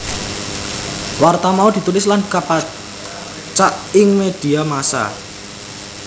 Warta mau ditulis lan kapacak ing medhia massa